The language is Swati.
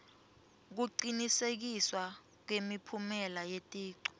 kucinisekiswa kwemiphumela yeticu